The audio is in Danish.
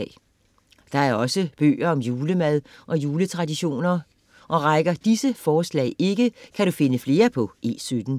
Der er også bøger om julemad og juletraditioner. Og rækker disse forslag ikke, kan du finde flere på E17.